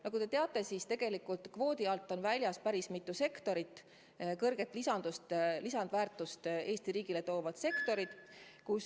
Nagu te teate, on kvoodi alt väljas päris mitu sektorit, kõrget lisandväärtust Eesti riigile tootvat sektorit.